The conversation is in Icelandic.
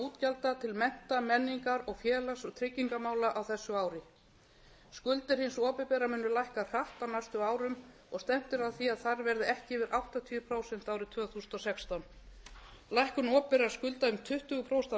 útgjalda til mennta menningar og félags og tryggingamála á þessu ári skuldir hins opinbera munu lækka hratt á næstu árum og stefnt er að því að þær verði ekki yfir áttatíu prósent árið tvö þúsund og sextán lækkun opinberra skulda um tuttugu prósent af